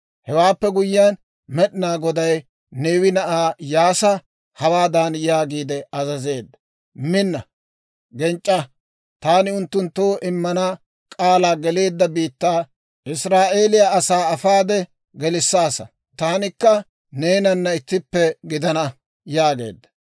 Hewaappe guyyiyaan, Med'inaa Goday Neewe na'aa Iyyaasa hawaadan yaagiide azazeedda; «Minna, genc'c'aa; taani unttunttoo immanaw k'aalaa geleedda biittaa Israa'eeliyaa asaa afaade gelissaasa. Taanikka neenana ittippe gidana» yaageedda.